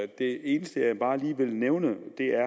det eneste jeg bare lige vil nævne